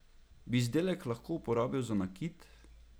Bi izdelek lahko uporabil za nakit?